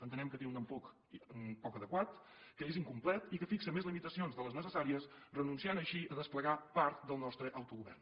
entenem que té un enfocament poc adequat que és incomplet i que fixa més limitacions de les necessàries renunciant així a desplegar part del nostre autogovern